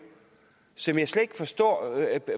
som jeg slet ikke forstår at